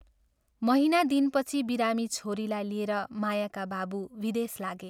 महीना दिनपछि बिरामी छोरीलाई लिएर मायाका बाबु विदेश लागे।